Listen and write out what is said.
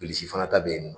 Bilisi fana ta bɛ yen nɔ